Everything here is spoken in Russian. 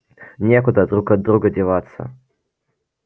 некуда друг от друга деваться